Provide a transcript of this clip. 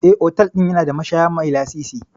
Eh, otal ɗin yana da mashaya mai lasisi.